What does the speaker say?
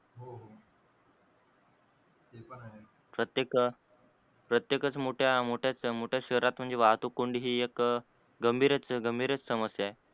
प्रतेक प्रत्येकच मोठ्या मोठ्या मोठ्याच शहरात म्हणजे वाहतूक कोंडी हि एक गंभीर गंभीरच समस्या आहे.